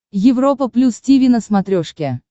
европа плюс тиви на смотрешке